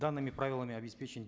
данными правилами обеспечен